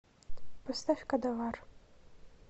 поставь кадавар